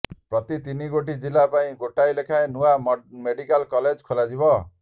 ପ୍ରତି ତିନିଗୋଟି ଜିଲ୍ଲା ପାଇଁ ଗୋଟିଏ ଲେଖାଏଁ ନୂଆ ମେଡ଼ିକାଲ କଲେଜ ଖୋଲାଯିବ